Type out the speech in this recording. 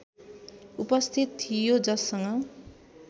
उपस्थित थियो जससँग